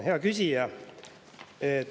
Hea küsija!